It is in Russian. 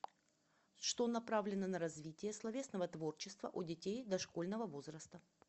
что направлено на развитие словесного творчества у детей дошкольного возраста